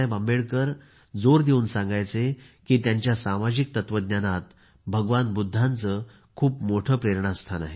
आंबेडकर जोर देवून सांगायचे की त्यांच्या सामाजिक तत्त्वज्ञानात भगवान बुद्धांचे खूप मोठे प्रेरणास्थान आहे